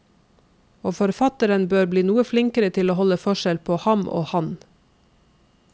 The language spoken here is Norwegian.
Og forfatteren bør bli noe flinkere til å holde forskjell på ham og han.